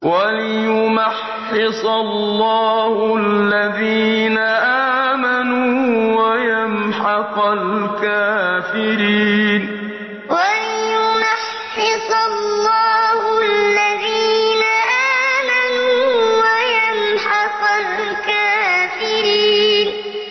وَلِيُمَحِّصَ اللَّهُ الَّذِينَ آمَنُوا وَيَمْحَقَ الْكَافِرِينَ وَلِيُمَحِّصَ اللَّهُ الَّذِينَ آمَنُوا وَيَمْحَقَ الْكَافِرِينَ